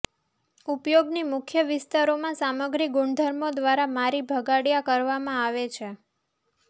ઉપયોગની મુખ્ય વિસ્તારોમાં સામગ્રી ગુણધર્મો દ્વારા મારી ભગાડયા કરવામાં આવે છે